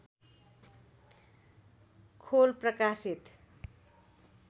खोल प्रकाशित